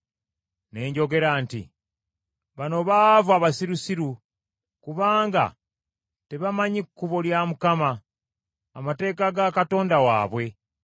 Ne njogera nti, “Bano baavu abasirusiru. Kubanga tebamanyi kkubo lya Mukama , amateeka ga Katonda waabwe.